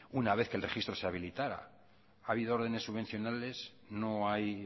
una vez que el registro se habilitara ha habido órdenes subvenciónales no hay